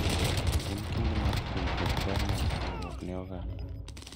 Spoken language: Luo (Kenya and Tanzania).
En kinde mar puonjruok ber mar chiwruok ne oganda.